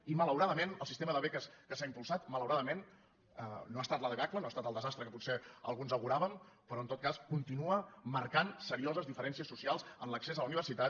i malauradament el sistema de beques que s’ha im·pulsat malauradament no ha estat la debacle no ha estat el desastre que potser alguns auguràvem però en tot cas continua marcant serioses diferències soci·als en l’accés a la universitat